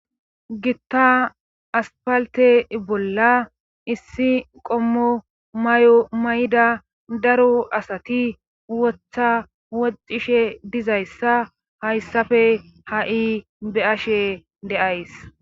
gitta aspalte bolla issi qommo mayo mayda daro asati wotha wocishe dizayssa hayssafe ha'i beashe de'ays